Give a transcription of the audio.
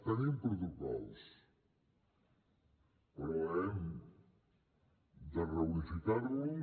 tenim protocols però hem de reunificar los